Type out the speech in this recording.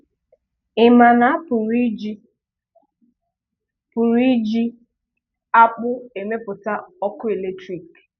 Ị ma na a pụrụ iji pụrụ iji akpụ emepụta ọkụ eletrik?